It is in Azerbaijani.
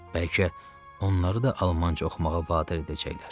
Bəlkə onları da almanca oxumağa vadar edəcəklər.